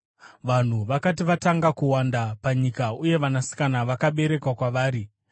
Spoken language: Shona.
Vanhu vakati vatanga kuwanda panyika uye vanasikana vakaberekwa kwavari,